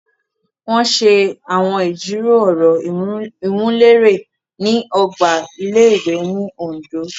Wọn ṣe awọn ijiro ọrọ iwunlere ni ogba ilé-ìwé ni Ondo